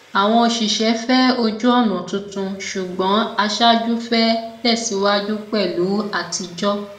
àwọn òṣìṣé fẹ ojúọnà tuntun ṣùgbọn aṣáájú fẹ tẹsíwájú pẹlú atijọ